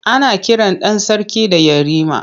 Ana kiran ɗan sarki da Yarima.